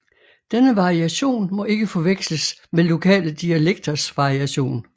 Denne variation må ikke forveksles med lokale dialekters variation